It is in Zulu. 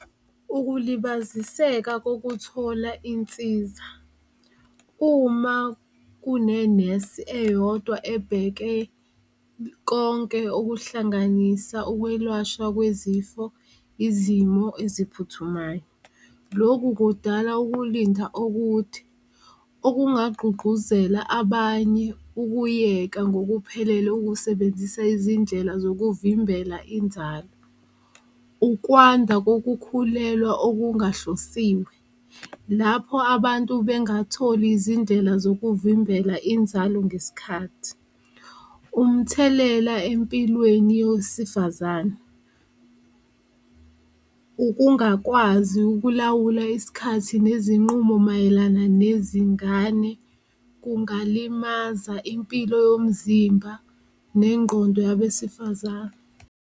Ukulibaziseka kokuthola insiza uma kunenesi eyodwa ebheke konke okuhlanganisa ukwelwashwa kwezifo, izimo eziphuthumayo loku kudala ukulinda okude, okungagqugquzela abanye ukuyeka ngokuphelele ukusebenzisa izindlela zokuvimbela inzalo. Ukwanda kokukhulelwa okungahlosiwe, lapho abantu bengatholi izindlela zokuvimbela inzalo ngesikhathi, umthelela empilweni yowesifazane, ukungakwazi ukulawula isikhathi nezinqumo mayelana nezingane kungabalimaza impilo yomzimba nengqondo yabesifazane.